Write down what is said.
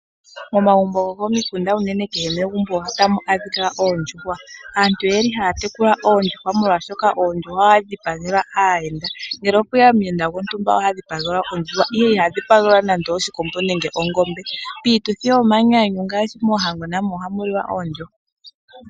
Omagumbo gokomikunda unene kehe megumbo ohamu adhika oondjuhwa. aantu oyeli haa tekula oondjuhwa molwaashoka oondjuhwa ohadhi dhipagelwa aayenda. ngele opweya omuyenda gontumba oha dhipagela ondjuha iha dhipagelwa nande oshikombo nenge ongombe. piituthi yomanyanyu ngaashi mohango namo ohamu liwa oondjuhwa